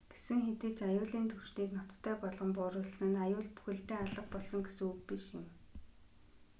гэсэн хэдий ч аюулын түвшнийг ноцтой болгон бууруулсан нь аюул бүхэлдээ алга болсон гэсэн үг биш юм